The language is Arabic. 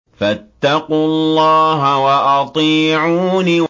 فَاتَّقُوا اللَّهَ وَأَطِيعُونِ